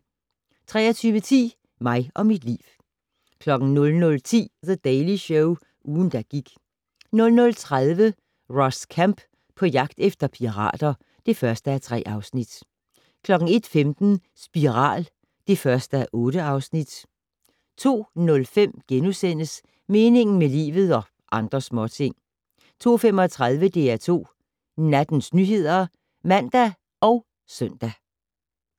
23:10: Mig og mit liv 00:10: The Daily Show - ugen, der gik 00:30: Ross Kemp på jagt efter pirater (1:3) 01:15: Spiral (1:8) 02:05: Meningen med livet - og andre småting * 02:35: DR2 Nattens nyheder (man og søn)